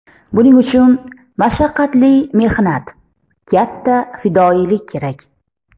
Buning uchun mashaqqatli mehnat, katta fidoyilik kerak.